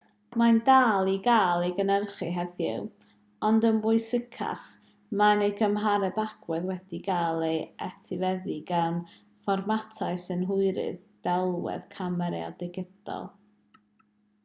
mae'n dal i gael ei gynhyrchu heddiw ond yn bwysicach mae ei gymhareb agwedd wedi cael ei etifeddu gan fformatau synhwyrydd delwedd camerâu digidol